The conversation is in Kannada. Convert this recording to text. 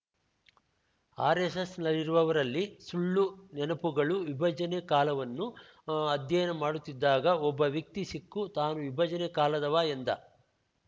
ಆರೆಸ್ಸೆಸ್‌ನಲ್ಲಿರುವವರಲ್ಲಿ ಸುಳ್ಳು ನೆನಪುಗಳು ವಿಭಜನೆ ಕಾಲವನ್ನು ಅಧ್ಯಯನ ಮಾಡುತ್ತಿದ್ದಾಗ ಒಬ್ಬ ವ್ಯಕ್ತಿ ಸಿಕ್ಕು ತಾನು ವಿಭಜನೆ ಕಾಲದವ ಎಂದ